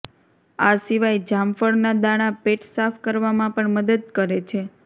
આ સિવાય જામફળના દાણા પેટ સાફ કરવામાં પણ મદદ કરે છે